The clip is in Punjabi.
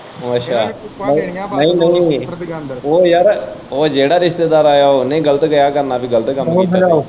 ਓ ਅੱਛਾ ਨਈ ਨਈ ਉਹ ਯਾਰ ਜਿਹੜਾ ਰਿਸ਼ਤੇਦਾਰ ਆਇਆ ਉਨੇ ਹੀ ਗਲਤ ਕਿਆ ਕਰਨਾ ਪੀ ਗਲਤ ਕੰਮ।